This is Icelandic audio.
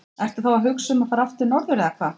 Ertu þá að hugsa um að fara aftur norður eða hvað?